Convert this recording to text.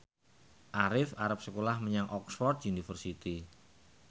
Arif arep sekolah menyang Oxford university